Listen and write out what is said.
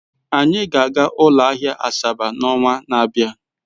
Anyị ga-aga ụlọ ahịa Asaba n'ọnwa na-abịa.